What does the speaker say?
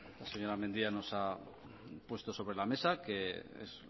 la señora mendia nos ha puesto sobre la mesa que es